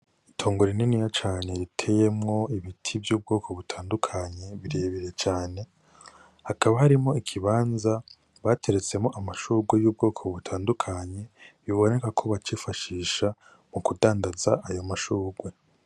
Itongo rininiya cane riteyemwo ibiti vy'ubwoko butandukanye, birebire cane. Hakaba harimwo ikibanza bateretsemwo amashurwe y'ubwoko butandukanye. Yoba ari nkako bacifashisha mu kudandaza ayo mashurwe.